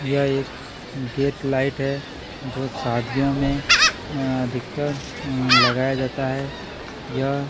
यह एक gate light है जो शादियों में अ अधिकतर अ लगाया जाता है यह --